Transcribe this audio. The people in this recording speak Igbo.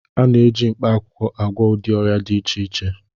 A na-eji mkpaakwụkwọ agwọ ụdị ọrịa dị iche iche